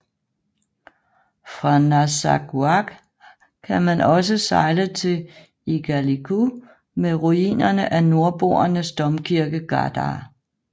Fra Narsarsuaq kan man også sejle til Igaliku med ruinerne af nordboernes domkirke Gardar